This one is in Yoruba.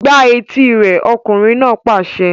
Gbá etí rẹ̀! Ọkùnrin náà pàṣẹ.